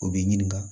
O b'i ɲininka